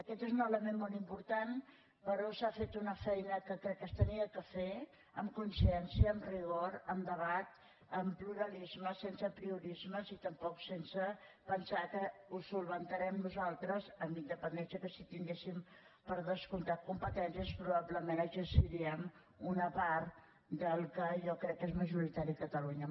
aquest és un element molt important però s’ha fet una feina que crec que s’havia de fer amb consciència amb rigor amb debat amb pluralisme sense apriorismes i tampoc sense pensar que ho solucionarem nosaltres amb independència que si tinguéssim per descomptat competències probablement exerciríem una part del que jo crec que és majoritari a catalunya